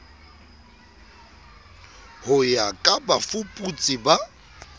ho ya ka bafuputsi ba